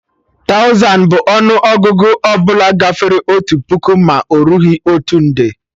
Tauzan bụ ọnụ Ọgụgụ ọbụla gafere otu puku ma erughị otu nde